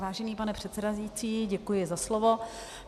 Vážený pane předsedající, děkuji za slovo.